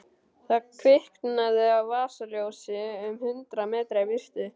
Það kviknaði á vasaljósi um hundrað metra í burtu.